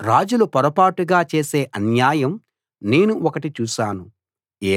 రాజులు పొరపాటుగా చేసే అన్యాయం నేను ఒకటి చూశాను